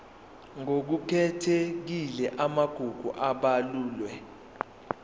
ngokukhethekile amagugu abalulwe